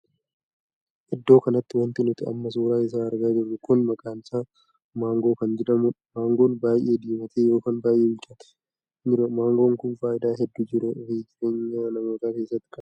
Iddoo kanatti wanti nuti amma suuraa isaa argaa jirru kun maqaan isaa maangoo kan jedhamuudha. maangoon baay'ee diimatee ykn baay'ee bilchaatee kan jirudha. maangoo kun faayidaa hedduu jiruu fi jireenya namootaa keessatti qabu.